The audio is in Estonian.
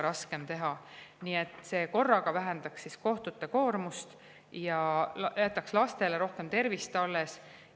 Nii et see korraga vähendaks kohtute koormust ja jätaks lastele rohkem tervist alles.